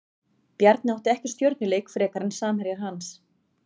Bjarni átti ekki stjörnuleik frekar en samherjar hans.